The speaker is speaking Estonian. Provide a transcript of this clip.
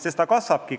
See kasvabki.